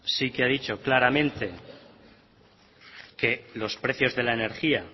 sí que ha dicho claramente que los precios de la energía